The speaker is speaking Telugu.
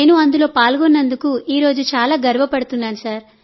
నేను అందులో పాల్గొన్నందుకు ఈరోజు చాలా గర్వపడుతున్నాను